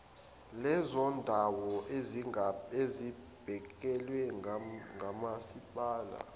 lezondawo ezingabhekelwe ngomasipala